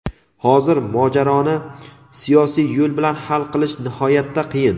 hozir mojaroni siyosiy yo‘l bilan hal qilish nihoyatda qiyin.